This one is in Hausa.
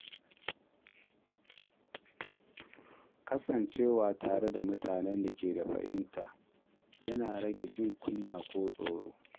Kasancewa tare da mutanen da ke fahimta yana rage jin kunya ko tsoro.